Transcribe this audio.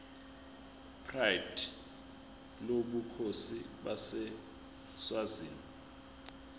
pride lobukhosi baseswazini